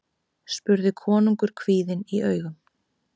spurði konungur kvíðinn í augum.